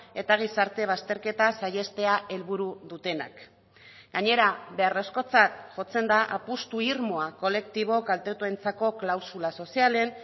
eta gizarte bazterketa saihestea helburu dutenak gainera beharrezkotzat jotzen da apustu irmoa kolektibo kaltetuentzako klausula sozialen